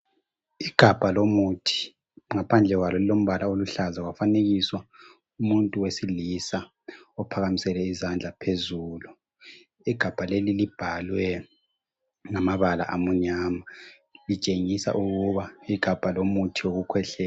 Igabha lomuthi, ngaphandle kwalo lilombala oluhlaza kwafanekiswa umuntu wesilisa ophakamisele izandla phezulu. Igabha leli libhalwe ngamabala amunyama litshengisa ukuba igabha lomutho wokukhwehlela.